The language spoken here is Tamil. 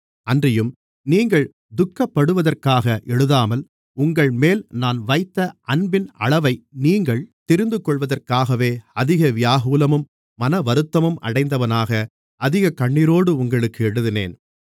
அன்றியும் நீங்கள் துக்கப்படுவதற்காக எழுதாமல் உங்கள்மேல் நான் வைத்த அன்பின் அளவை நீங்கள் தெரிந்துகொள்வதற்காகவே அதிக வியாகுலமும் மனவருத்தமும் அடைந்தவனாக அதிகக் கண்ணீரோடு உங்களுக்கு எழுதினேன்